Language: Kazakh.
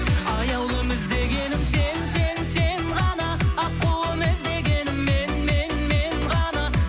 аяулым іздегенім сен сен сен ғана аққуым іздегенің мен мен мен ғана